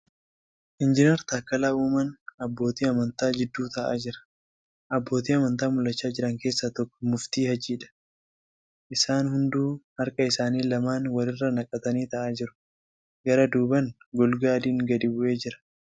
Injinar Taakkalaa Uumaan abbootii amantaa jidduu taa'aa jira . Abbootii amantaa mul'achaa jiran keessaa tokko Muftii Haajiidha. Isaan hunduu harka isaanii lamaan wal irra naqatanii taa'aa jiru. Garaa duubaan golgaa adiin gadi bu'ee jira.